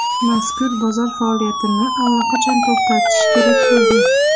Mazkur bozor faoliyatini allaqachon to‘xtatish kerak bo‘lgan.